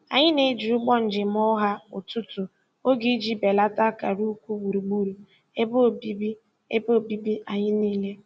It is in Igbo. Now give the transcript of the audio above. Anyị na-eji ụgbọ njem ọha ọtụtụ oge iji belata akara ukwu gburugburu ebe obibi ebe obibi anyị niile.